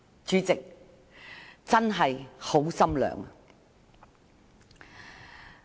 主席，我真的很心寒。